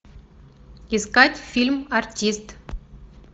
искать фильм артист